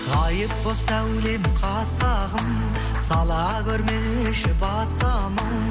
ғайып боп сәулем қас қағым сала көрмеші басқа мұң